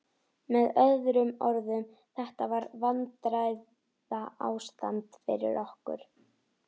Með öðrum orðum: þetta er vandræðaástand fyrir okkur.